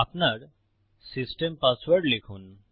আপনার system password লিখুন